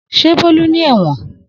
Se Bolu ni ewon